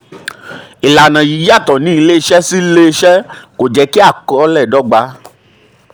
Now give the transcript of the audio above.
ìlànà yìí um yàtọ̀ um yàtọ̀ ní iléeṣẹ́ sí iléeṣẹ́ kò um jẹ́ kí àkọsílẹ̀ dọ́gba.